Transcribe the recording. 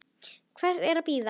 Hvers er að bíða?